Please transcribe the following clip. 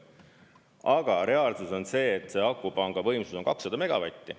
Aga reaalsus on see, et akupanga võimsus on 200 megavatti.